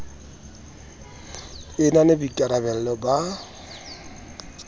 e na le boikarabelo ba